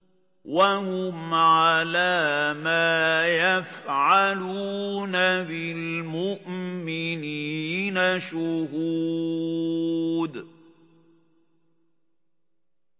وَهُمْ عَلَىٰ مَا يَفْعَلُونَ بِالْمُؤْمِنِينَ شُهُودٌ